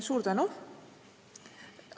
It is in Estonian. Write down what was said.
Suur tänu!